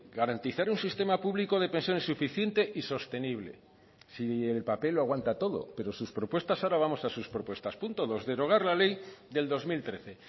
garantizar un sistema público de pensiones suficiente y sostenible si el papel lo aguanta todo pero sus propuestas ahora vamos a sus propuestas punto dos derogar la ley del dos mil trece